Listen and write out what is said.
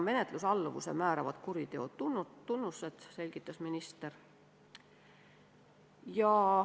Menetlusalluvuse määravad kuriteo tunnused, selgitas minister.